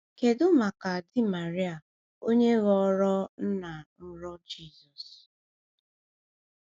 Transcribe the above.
Kedu maka di Maria, onye ghọrọ nna nrọ Jizọs?